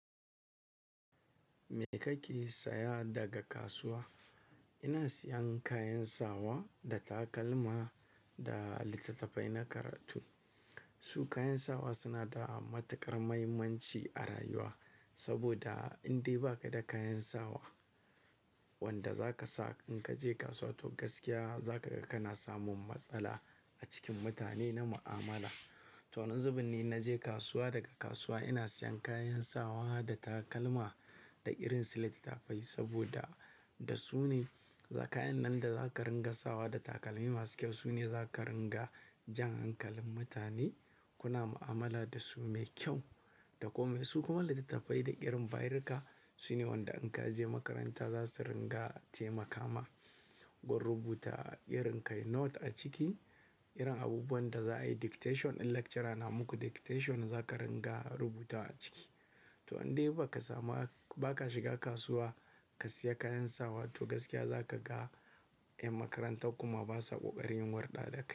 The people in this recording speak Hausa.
Me kake saya daga kasuwa? Ina siyan kayan sawa da takalma da littattafai na karatu. Su kayan sawa suna da matuƙar mahimmanci a rayuwa, saboda in dai ba ka da kayan sawa wanda za ka sa in ka je kasuwa, to gaskiya za ka ga kana samun matsala a cikin mutane na mu'amala. To, wannan zubin ne in na je kasuwa daga kasuwa ina siyan kayan sawa da takalma da irin su littattafai, saboda da su ne, za-kayan nan da za ka ringa sawa da takalmi masu kyau su ne za ka ringa jan hankalin mutane kuna mu'amala da su mai kyau da komai. Su kuma wanda littattafai da irin barka su ne wanda in ka je makaranta za su ringa taimaka ma gun rubuta irin kayi note a ciki, irin abubuwan da za a yi dictation in lecturer na muku dictation za ka ringa rubuta a ciki. To in dai ba ka sama'a, ba ka shiga kasuwa ka siya kayan sawa to gaskiya za ka ga ƴan makaranta kuma basa ƙoƙarin warɗa da kai.